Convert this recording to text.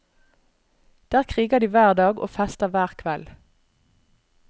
Der kriger de hver dag og fester hver kveld.